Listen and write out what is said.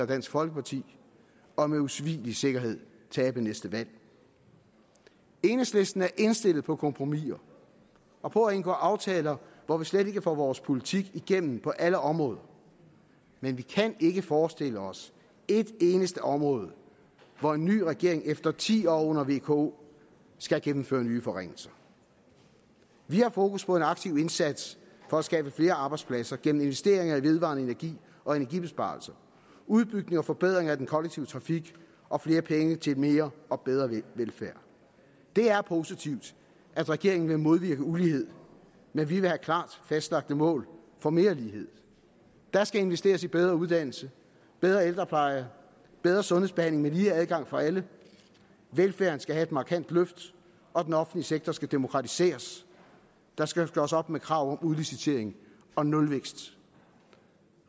dansk folkeparti og med usvigelig sikkerhed tabe næste valg enhedslisten er indstillet på kompromiser og på at indgå aftaler hvor vi slet ikke får vores politik igennem på alle områder men vi kan ikke forestille os et eneste område hvor en ny regering efter ti år under vko skal gennemføre nye forringelser vi har fokus på en aktiv indsats for at skabe flere arbejdspladser gennem investeringer i vedvarende energi og energibesparelser udbygning og forbedring af den kollektive trafik og flere penge til mere og bedre velfærd det er positivt at regeringen vil modvirke ulighed men vi vil have klart fastlagte mål for mere lighed der skal investeres i bedre uddannelse bedre ældrepleje bedre sundhedsbehandling med lige adgang for alle velfærden skal have et markant løft og den offentlige sektor skal demokratiseres der skal gøres op med krav om udlicitering og nulvækst